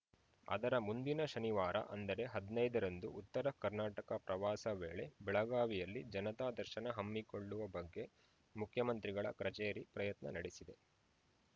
ಅದರ ಮುಂದಿನ ಶನಿವಾರ ಅಂದರೆ ಹದಿನೈದರಂದು ಉತ್ತರ ಕರ್ನಾಟಕ ಪ್ರವಾಸ ವೇಳೆ ಬೆಳಗಾವಿಯಲ್ಲಿ ಜನತಾ ದರ್ಶನ ಹಮ್ಮಿಕೊಳ್ಳುವ ಬಗ್ಗೆ ಮುಖ್ಯಮಂತ್ರಿಗಳ ಕಚೇರಿ ಪ್ರಯತ್ನ ನಡೆಸಿದೆ